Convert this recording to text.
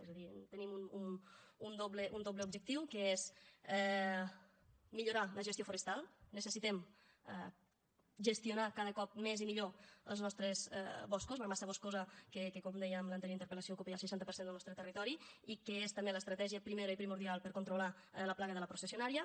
és a dir tenim un doble objectiu que és millorar la gestió forestal necessitem gestionar cada cop més i millor els nostres boscos la massa boscosa que com deia en l’anterior interpel·lació ocupa ja el seixanta per cent del nostre territori i que és també l’estratègia primera i primordial per controlar la plaga de la processionària